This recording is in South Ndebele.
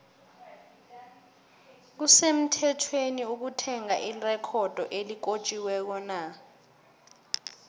kusemuthethweni ukuthenga irecodo elikotjiwekona